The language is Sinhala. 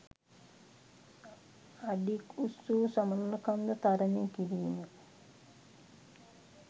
අඩි ක් උස්වූ සමනළකන්ද තරණය කිරීම